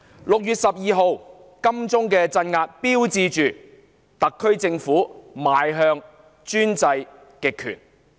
6月12日在金鐘的鎮壓標誌着特區政府邁向專制極權。